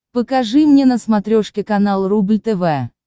покажи мне на смотрешке канал рубль тв